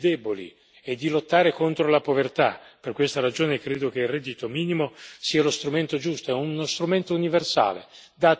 Per questa ragione, credo che il reddito minimo sia lo strumento giusto, è uno strumento universale che dà a tutti le stesse protezioni e le stesse occasioni.